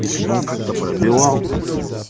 если бы он как-то пробивал